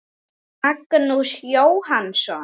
Magnús Jónsson